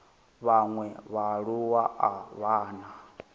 vhaṅwe vhaaluwa a vha na